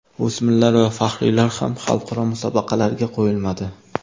O‘smirlar va faxriylar ham xalqaro musobaqalarga qo‘yilmadi.